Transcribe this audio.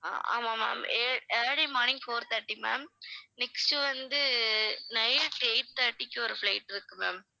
அஹ் ஆமாம் ma'am ea~ early morning four thirty ma'am next வந்து night eight thirty க்கு ஒரு flight இருக்கு ma'am